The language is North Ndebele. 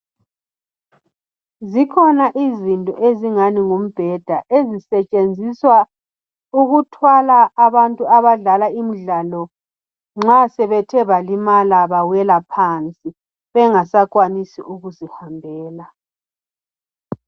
Zikhona izinto ezingani ngumbheda ezisetshenziswa ukuthwala abantu abadlala imidlalo nxa sebethe balimala bawela phansi bengasakwanisi ukuzihambela.